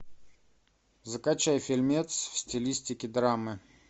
закачай фильмец в стилистике драмы